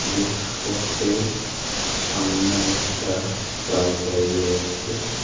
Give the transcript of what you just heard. বুক shop সামনে একটা bike দাঁড়িয়ে আছে .